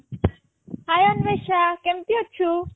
Hi Anwesha କେମତି ଅଛୁ?